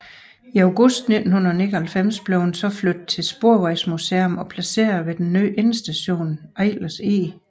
I august 1999 blev den så flyttet til Sporvejsmuseet og placeret ved den nye endestation ved Eilers Eg